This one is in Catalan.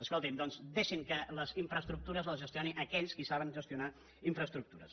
escolti’m doncs deixin que les infraestructures les gestioni aquells que saben gestionar infraestructures